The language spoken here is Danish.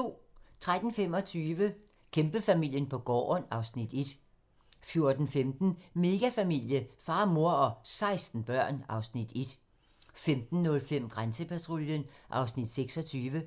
13:25: Kæmpefamilien på gården (Afs. 1) 14:15: Megafamilie - far, mor og 16 børn (Afs. 1) 15:05: Grænsepatruljen (Afs. 26)